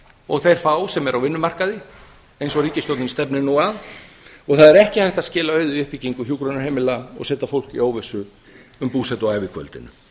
og þeir fá sem eru á vinnumarkaði eins og ríkisstjórnin stefnir nú að það er ekki hægt að skila auðu í uppbyggingu hjúkrunarheimila og setja fólk í óvissu um búsetu á ævikvöldinu